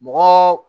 Mɔgɔ